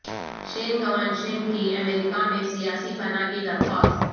شین گوانشین کی امریکہ میں سیاسی پناہ کی درخواست